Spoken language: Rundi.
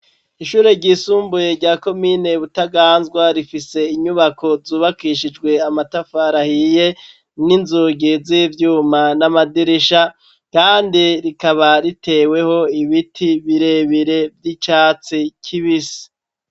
Ishure ryisumbuye rya komine Butaganzwa, rifise inyubako zubakishijwe amatafari ahiye n'inzugi z'ivyuma n'amadirisha, kandi rikaba riteweho ibiti birebire vy'icatsi kibisi.